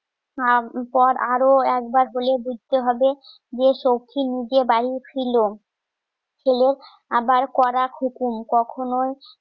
পর আরো একবার বলে দিতে হবে যে শক্তি নিজে বানিয়ে ছিল ছেলে আবার কড়া হুকুম কখনোই